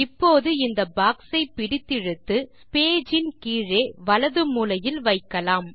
இப்போது இந்த பாக்ஸை பிடித்திழுத்து பேஜ் இன் கீழே வலது மூலையில் வைக்கலாம்